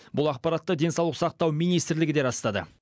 бұл ақпаратты денсаулық сақтау министрлігі де растады